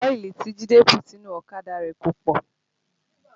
Ọ́ìlì tí Jide bù sínú ọ̀kadà rẹ̀ kò pọ̀